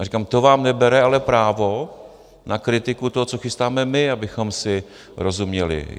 A říkám, to vám nebere ale právo na kritiku toho, co chystáme my, abychom si rozuměli.